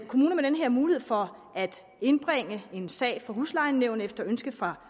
kommuner med den her mulighed for at indbringe en sag for huslejenævnet efter ønske fra